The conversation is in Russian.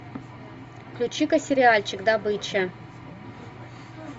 включи ка сериальчик добыча